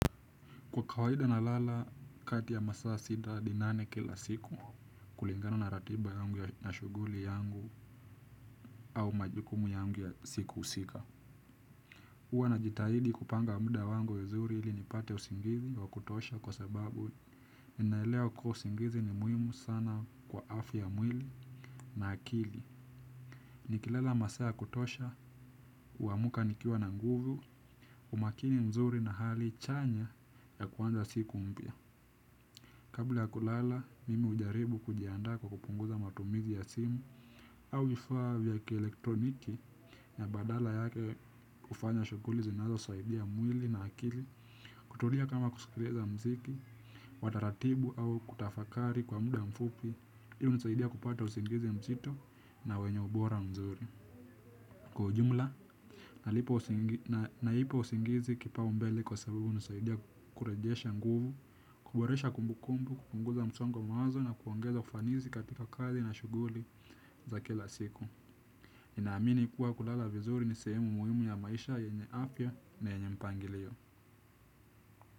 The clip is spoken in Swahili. Kwa kawaida nalala kati ya masaa sita hadi nane kila siku kulingana na ratiba yangu ya mashuguli yangu au majukumu yangu ya siku husika. Uwa najitahidi kupanga muda wangu vizuri ili nipate usingizi wa kutosha kwa sababu ninaelewa kuwa usingizi ni muhimu sana kwa afya ya mwili na akili. Nikilala masaa ya kutosha, huamuka nikiwa na nguvu, umakini mzuri na hali chanya ya kuanza siku mpya. Kabla ya kulala, mimi hujaribu kujiandaa kwa kupunguza matumizi ya simu au vifaa vya ki elektroniki na badala yake hufanya shughuli zinazosaidia mwili na akili. Kutulia kama kusikiliza mziki wa taratibu au kutafakari kwa muda mfupi, hii hunisaidia kupata usingizi mzito na wenye ubora mzuri. Kwa ujumla, naipa usingizi kipaumbele kwa sababu inasaidia kurejesha nguvu, kuboresha kumbukumbu, kupunguza msongo wa mawazo na kuongeza ufanisi katika kazi na shughuli za kila siku. Ninaamini kuwa kulala vizuri nisehemu muhimu ya maisha yenye afya na yenye mpangilio.